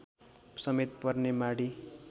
समेत पर्ने माडी